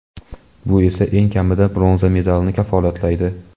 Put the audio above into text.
Bu esa eng kamida bronza medalni kafolatlaydi.